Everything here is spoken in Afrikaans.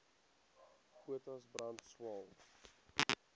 potas brand swael